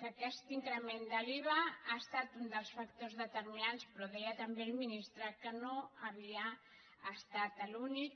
que aquest increment de l’iva ha estat un dels factors determinants però deia també el ministre que no havia estat l’únic